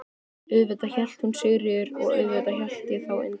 Auðvitað hét hún Sigríður og auðvitað hét ég þá Indriði.